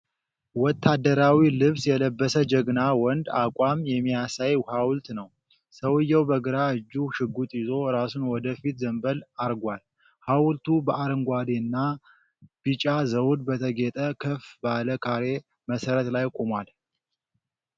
ወታደራዊ ልብስ የለበሰ ጀግና ወንድ አቋም የሚያሳይ ሀዉልት ነው። ሰዉየው በግራ እጁ ሽጉጥ ይዞ እራሱን ወደ ፊት ዘንበል አግርጓል። ሐውልቱ በአረንጓዴ እና ቢጫ ዘውድ በተጌጠ ከፍ ባለ ካሬ መሠረት ላይ ቆሟል።